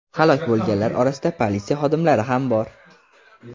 Halok bo‘lganlar orasida politsiya xodimlari ham bor.